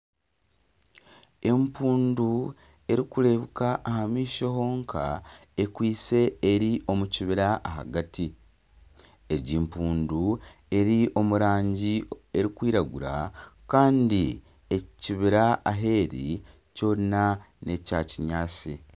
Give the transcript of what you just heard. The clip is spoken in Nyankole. Empundu erikureebuka aha maisho honka ekwise eri omu kibira ahagati, egi empundu eri omu rangi erikwiragura kandi ekibira ahu eri kyona n'ekya kinyatsi